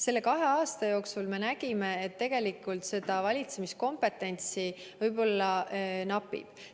Selle kahe aasta jooksul me nägime, et tegelikult valitsemiskompetentsi võib-olla napib.